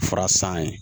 Fura san ye